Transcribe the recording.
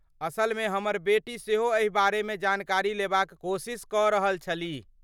असल मे , हमर बेटी सेहो एहि बारेमे जानकारी लेबाक कोशिश कऽ रहल छलीह ।